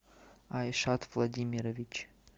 айшат владимирович